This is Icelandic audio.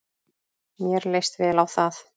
Mér leist vel á það.